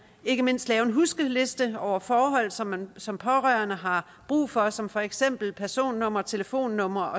ikke mindst lave en huskeliste over forhold som man som pårørende har brug for som for eksempel personnummer telefonnumre